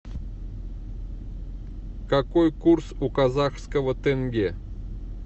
какой курс у казахского тенге